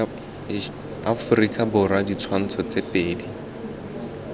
aforika borwa ditshwantsho tse pedi